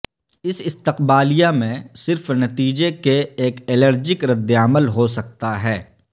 اس استقبالیہ میں سے صرف نتیجہ کے ایک الرجک رد عمل ہو سکتا ہے